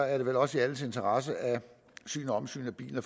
er det vel også i alles interesse at syn og omsyn af bilerne